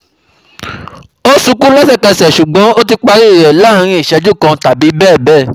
Ó sunkún lẹ́sẹ̀kẹsẹ̀ ṣùgbọ́n ó ti parí rẹ̀ láàárín ìṣẹ́jú kan tàbí bẹ́ẹ̀ bẹ́ẹ̀